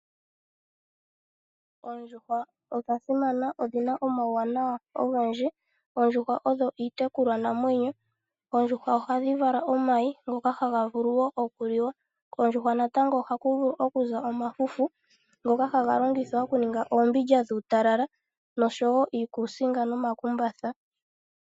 Oondjuhwa odha simana odhina omawuwanawa ogendji. Oondjuhwa odho uutekulwa naamwenyo. Ohadhi vala omayi ngoka haga vulu okuliwa. Ohaku vulu okuza omafufu ngoka haga longithwa okuninga ombindja dhuutalala nosho woo iikusinga nomakumbatha .